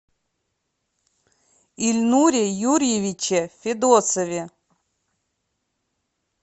ильнуре юрьевиче федосове